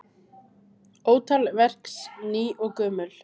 Ótal verks ný og gömul.